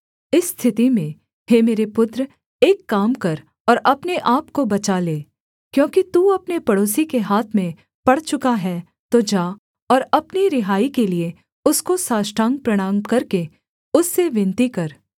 इस स्थिति में हे मेरे पुत्र एक काम कर और अपने आपको बचा ले क्योंकि तू अपने पड़ोसी के हाथ में पड़ चुका है तो जा और अपनी रिहाई के लिए उसको साष्टांग प्रणाम करके उससे विनती कर